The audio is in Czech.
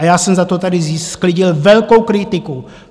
A já jsem za to tady sklidil velkou kritiku.